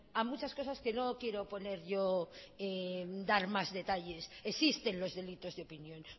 a muchas cosas que no quiero poner yo dar más detalles existen los delitos de opinión